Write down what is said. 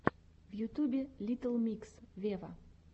в ютюбе литтл микс вево